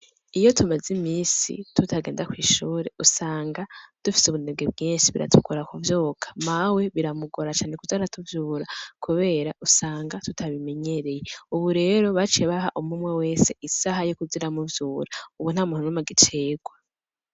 Iyo tumaze imisi tutagenda kw'ishure usanga dufise ubunebwe bwinshi, biratugora kuvyuka. Mawe biramugora cane kuza aratuvyura kubera usanga tutabimenyereye. Ubu rero baciye baha umwe umwe wese isaha yo kuza iramuvyura, ubu nta muntu n'umwe agicegwa.